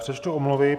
Přečtu omluvy.